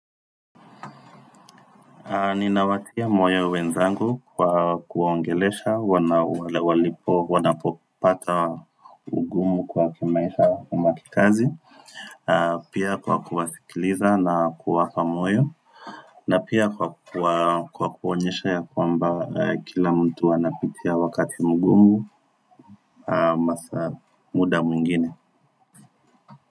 Ninawatia moyo wenzangu kwa kuongelesha, wanapopata ugumu kwa kimaisha ama kikazi Pia kwa kuwasikiliza na kuwapa moyo na pia kwa kuwa kwa kuonyeshea kwamba kila mtu anapitia wakati mgumu masaa muda mwingine.